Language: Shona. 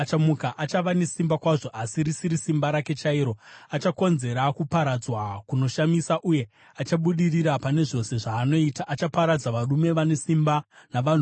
Achava nesimba kwazvo, asi risiri simba rake chairo. Achakonzera kuparadzwa kunoshamisa uye achabudirira pane zvose zvaanoita. Achaparadza varume vane simba navanhu vatsvene.